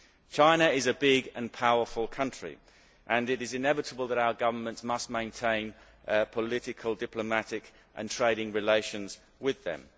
China is a big and powerful country and it is inevitable that our governments must maintain political, diplomatic and trading relations with them.